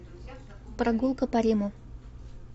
прогулка по риму